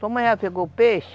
Tua mãe já pegou o peixe?